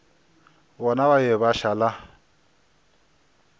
bona ba be ba šala